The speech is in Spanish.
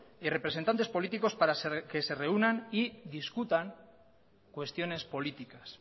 y representantes políticos para que se reúnan y discutan cuestiones políticas